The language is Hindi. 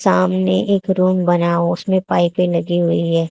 सामने एक रूम बना उसमें पाइपे लगी हुई है।